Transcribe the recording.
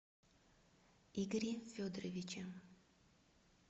игоре федоровиче